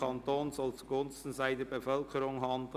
Kanton soll zugunsten seiner Bevölkerung handeln!».